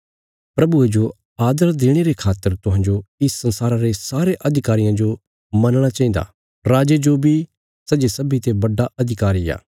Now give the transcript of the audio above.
प्रभुये जो आदर देणे रे खातर तुहांजो इस संसारा रे सारे अधिकारियां जो मनणा चाहिन्दा राजे जो बी सै जे सब्बींते बड्डा अधिकारी आ